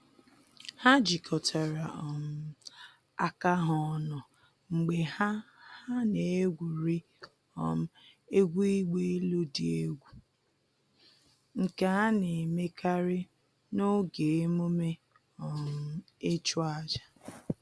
Ha jikọtara um aka ha ọnụ mgbe ha ha na-egwuri um egwu ịgba elu dị egwu, nke a na-emekarị n’oge emume um ịchụ aja